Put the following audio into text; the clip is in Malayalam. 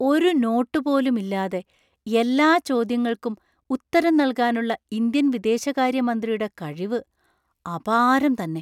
ഒരു നോട്ടുപോലും ഇല്ലാതെ എല്ലാ ചോദ്യങ്ങൾക്കും ഉത്തരം നൽകാനുള്ള ഇന്ത്യൻ വിദേശകാര്യമന്ത്രിയുടെ കഴിവ് അപാരം തന്നെ!